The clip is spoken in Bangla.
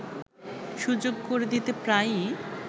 সুযোগ করে দিতে প্রায়ই